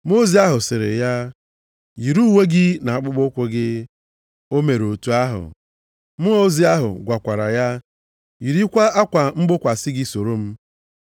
Mmụọ ozi ahụ sịrị ya, “Yiri uwe gị na akpụkpọụkwụ gị.” O mere otu ahụ, Mmụọ ozi ahụ gwakwara ya, “Yirikwa akwa mgbokwasị gị soro m.”